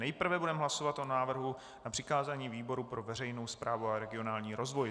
Nejprve budeme hlasovat o návrhu na přikázání výboru pro veřejnou správu a regionální rozvoj.